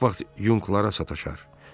Çox vaxt yunqlara sataşar.